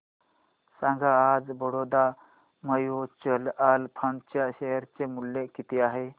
सांगा आज Baroda mutual fund च्या शेअर चे मूल्य किती आहे